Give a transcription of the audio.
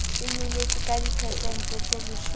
e nyolotswe ka diphesente tseleshome